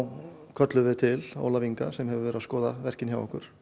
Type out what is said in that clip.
kölluðum við til Ólaf Inga sem hefur skoðað verkin hjá okkur